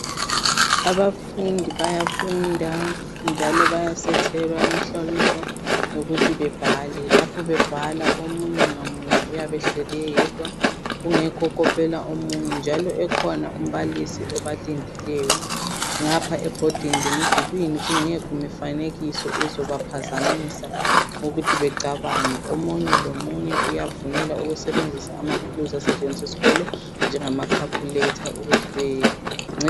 Abafundi bayafunda njalo bayasethelwa imhloliso ukuthi bebhale. Lapho bebhala omunye ngamunye uyabe ehleli eyedwa kungekho okopela omunye njalo ekhona umbalisi obalindileyo ngapha ebhodini lemdulwini kungekho mifanekiso ezobaphazmisa ukuthi becabange. Omunye lomunye uyavunyelwa ukusebenzisa amathuluzi asetshenziswa eskolo njengama khakhuletha ukuthi bencedise.